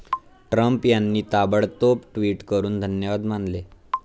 Trump यांनी ताबडतोब tweet करून धन्यवाद मानले.